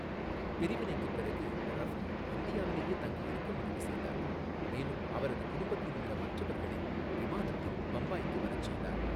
பிரிவினைக்குப் பிறகு, ரஃபி இந்தியாவிலேயே தங்கியிருக்க முடிவு செய்தார், மேலும் அவரது குடும்பத்தில் உள்ள மற்றவர்களை விமானத்தில் பம்பாய்க்கு வரச் செய்தார்